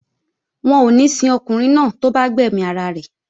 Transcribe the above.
Wọn ò ní sin ọkùnrin náà tó bá gbẹ̀mí ara rẹ̀